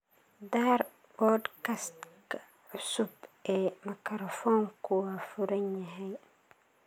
Daar podcast-ka cusub ee makarafoonku waa furan yahay